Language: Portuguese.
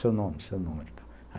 Seu nome, seu número e tal.